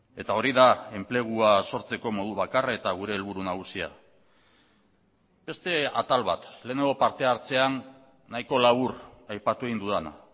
eta hori da enplegua sortzeko modu bakarra eta gure helburu nagusia beste atal bat lehenengo parte hartzean nahiko labur aipatu egin dudana